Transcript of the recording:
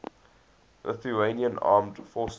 lithuanian armed forces